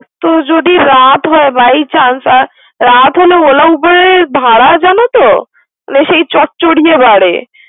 তো যদি রাত হয় By change রাত হলে ওলা গুলোর ভাড়া জানো তো। সেই চরচরিয়ে বারে।